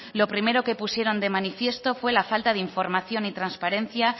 lo primero que pusieron de manifiesto fue la falta de información y transparencia